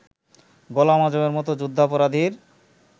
গোলাম আযমের মতো যুদ্ধাপরাধীর